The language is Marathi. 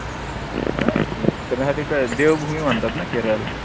फिरन्यासाठी काय देवभूमी म्हणतात ना केरळ ला?